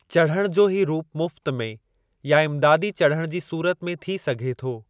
चढ़णु जो ही रूपु मुफ़्त में या इमदादी चढ़णु जी सूरत में थी सघे थो।